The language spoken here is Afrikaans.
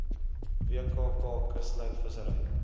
wkk kuslyn vissery